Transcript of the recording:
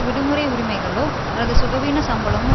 விடுமுறை உரிமைகளோ அல்லது சுகவீன சம்பளமோ